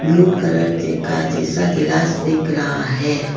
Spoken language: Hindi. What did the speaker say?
ब्लू कलर देखा जैसा गिलास देख रहा है।